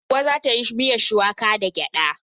Hauwa za ta yi miyan shuwaka da gyada.